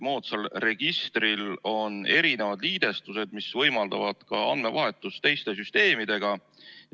Moodsal registril on erinevad liidestused, mis võimaldavad ka andmevahetust teiste süsteemidega.